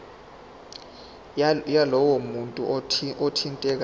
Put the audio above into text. yalowo muntu othintekayo